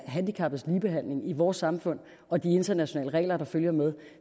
handicappedes ligebehandling i vores samfund og de internationale regler der følger med